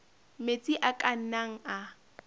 metsi a ka nnang a